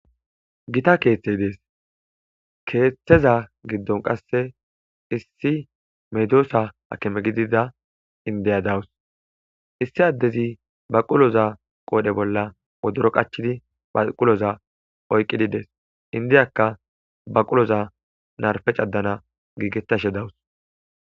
gita keeththe dees keeththeza giddon qasse issi medosa hakime gidida indiya dawus issi addezi baquloza qoodhe bolla wodoro qachidi baquloza oyqqidides indiyakka baquloza narfe caddana giigetashe dawus